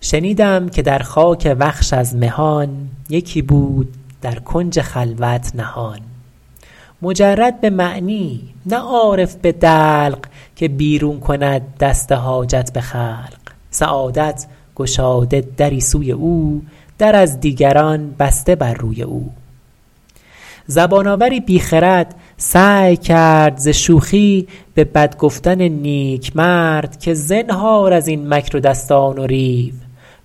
شنیدم که در خاک وخش از مهان یکی بود در کنج خلوت نهان مجرد به معنی نه عارف به دلق که بیرون کند دست حاجت به خلق سعادت گشاده دری سوی او در از دیگران بسته بر روی او زبان آوری بی خرد سعی کرد ز شوخی به بد گفتن نیک مرد که زنهار از این مکر و دستان و ریو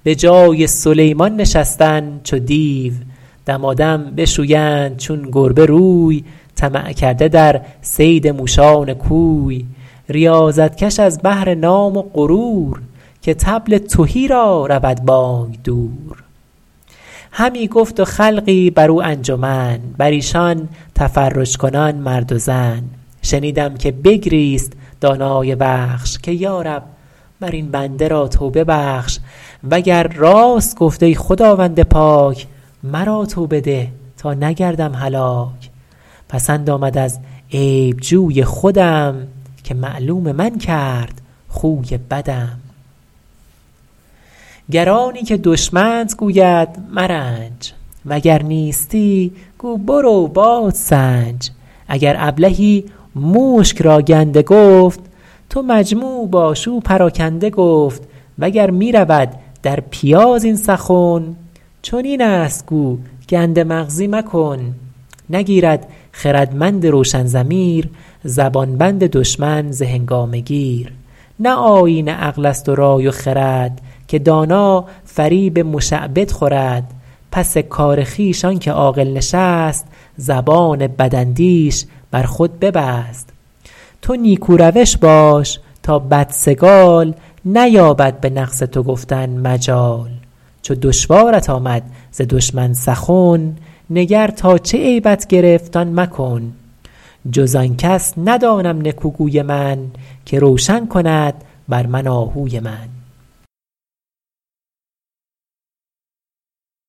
بجای سلیمان نشستن چو دیو دمادم بشویند چون گربه روی طمع کرده در صید موشان کوی ریاضت کش از بهر نام و غرور که طبل تهی را رود بانگ دور همی گفت و خلقی بر او انجمن بر ایشان تفرج کنان مرد و زن شنیدم که بگریست دانای وخش که یارب مر این بنده را توبه بخش وگر راست گفت ای خداوند پاک مرا توبه ده تا نگردم هلاک پسند آمد از عیب جوی خودم که معلوم من کرد خوی بدم گر آنی که دشمنت گوید مرنج وگر نیستی گو برو بادسنج اگر ابلهی مشک را گنده گفت تو مجموع باش او پراکنده گفت وگر می رود در پیاز این سخن چنین است گو گنده مغزی مکن نگیرد خردمند روشن ضمیر زبان بند دشمن ز هنگامه گیر نه آیین عقل است و رای و خرد که دانا فریب مشعبد خورد پس کار خویش آنکه عاقل نشست زبان بداندیش بر خود ببست تو نیکو روش باش تا بدسگال نیابد به نقص تو گفتن مجال چو دشوارت آمد ز دشمن سخن نگر تا چه عیبت گرفت آن مکن جز آن کس ندانم نکو گوی من که روشن کند بر من آهوی من